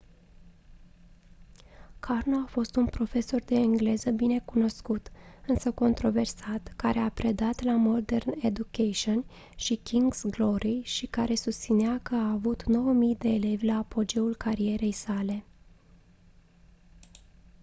karno a fost un profesor de engleză binecunoscut însă controversat care a predat la modern education și king's glory și care susținea că a avut 9 000 de elevi la apogeul carierei sale